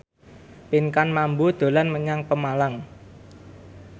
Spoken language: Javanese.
Pinkan Mambo dolan menyang Pemalang